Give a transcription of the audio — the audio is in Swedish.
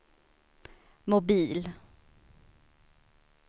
mobil